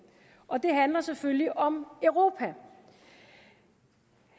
og det handler selvfølgelig om europa